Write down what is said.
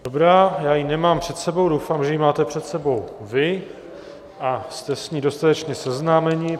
Dobrá, já ji nemám před sebou, doufám, že ji máte před sebou vy a jste s ní dostatečně seznámeni.